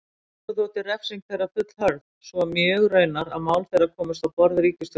Mörgum þótti refsing þeirra fullhörð, svo mjög raunar að mál þeirra komust á borð ríkisstjórnarinnar.